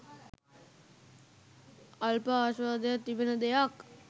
අල්ප ආශ්වාදයක් තිබෙන දෙයක්.